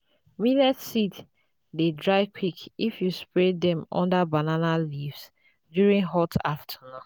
millet seeds dey dry quick if you spread dem under banana leaves during hot afternoon.